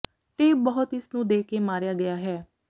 tape ਬਹੁਤ ਇਸ ਨੂੰ ਦੇ ਕੇ ਮਾਰਿਆ ਗਿਆ ਹੈ